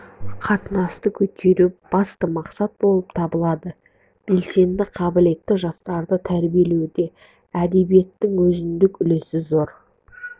қатынасты көтеру басты мақсат болып табылады белсенді қабілетті жастарды тәрбиелеуде әдебиеттің өзіндік үлесі зор